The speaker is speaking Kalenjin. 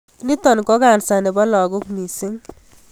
Nitok ko cancer nepo lagok mising.